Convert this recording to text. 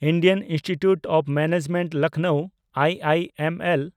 Indian Institute of Management Lucknow (I M L)